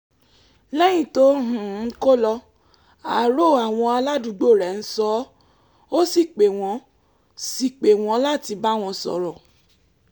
lẹ́yìn tó um kó lọ àárò àwọn aládùúgbò rẹ̀ ń sọ ọ́ ó sì pè wọ́n sì pè wọ́n láti bá wọn sọ̀rọ̀